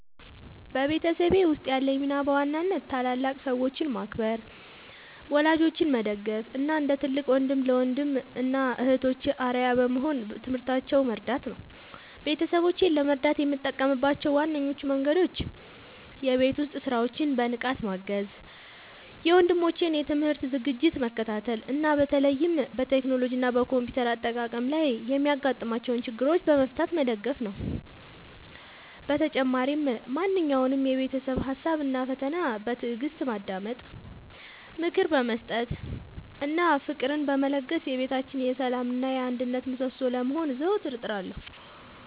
በቤተሰቤ ውስጥ ያለኝ ሚና በዋናነት ታላላቅ ሰዎችን ማክበር፣ ወላጆቼን መደገፍ እና እንደ ትልቅ ወንድም ለወንድም እና እህቶቼ አርአያ በመሆን በትምህርታቸው መርዳት ነው። ቤተሰቦቼን ለመርዳት የምጠቀምባቸው ዋነኞቹ መንገዶች የቤት ውስጥ ሥራዎችን በንቃት ማገዝ፣ የወንድሞቼን የትምህርት ዝግጅት መከታተል እና በተለይም በቴክኖሎጂ እና በኮምፒውተር አጠቃቀም ላይ የሚያጋጥሟቸውን ችግሮች በመፍታት መደገፍ ነው። በተጨማሪም ማንኛውንም የቤተሰብ ሀሳብ እና ፈተና በትዕግስት በማዳመጥ፣ ምክር በመስጠት እና ፍቅርን በመለገስ የቤታችን የሰላም እና የአንድነት ምሰሶ ለመሆን ዘወትር እጥራለሁ።